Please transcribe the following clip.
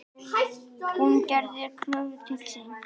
Hún gerði kröfur til sín.